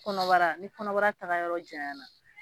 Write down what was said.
Kɔnɔbara ni kɔnɔbara taga yɔrɔ jayan na